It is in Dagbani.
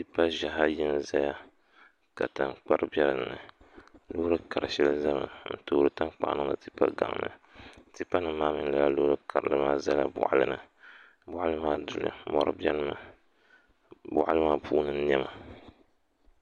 Tipa ʒiɛhi ayi n ʒɛya ka tankpari bɛ dinni loori kari shɛli ʒɛmi n toori n toori tankpaɣu niŋdi tipa nim ni tipa gaŋ maa mini laa loori karili maa ʒɛla boɣali ni boɣali maa duya mori biɛni mi ni boɣali maa puuni niɛma